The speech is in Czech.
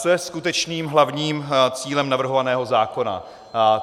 Co je skutečným hlavním cílem navrhovaného zákona?